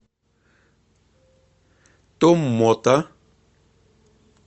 томмота